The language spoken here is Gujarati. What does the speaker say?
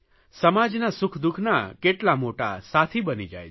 સમાજના સુખદુઃખના કેટલા મોટા સાથી બની જાય છે